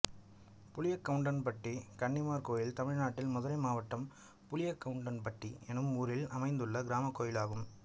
புளியக்கவுண்டன்பட்டி கன்னிமார் கோயில் தமிழ்நாட்டில் மதுரை மாவட்டம் புளியக்கவுண்டன்பட்டி என்னும் ஊரில் அமைந்துள்ள கிராமக் கோயிலாகும்